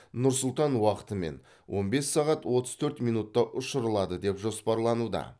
нұр сұлтан уақытымен он бес сағат отыз төрт минутта ұшырылады деп жоспарлануда